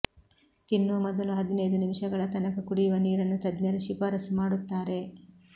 ತಿನ್ನುವ ಮೊದಲು ಹದಿನೈದು ನಿಮಿಷಗಳ ತನಕ ಕುಡಿಯುವ ನೀರನ್ನು ತಜ್ಞರು ಶಿಫಾರಸು ಮಾಡುತ್ತಾರೆ